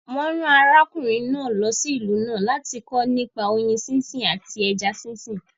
Wọ́n rán ọkùnrin náà lọ sí ìlú náà láti kọ́ nípa oyin sínsìn àti ẹja sínsìn